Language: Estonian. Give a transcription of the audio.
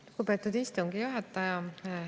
Lugupeetud istungi juhataja!